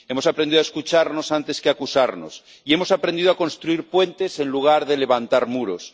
hemos aprendido a escucharnos antes que a acusarnos y hemos aprendido a construir puentes en lugar de levantar muros.